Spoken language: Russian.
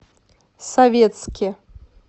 советске